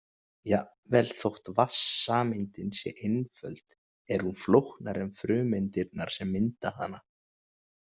Jafnvel þótt vatnssameindin sé einföld er hún flóknari en frumeindirnar sem mynda hana.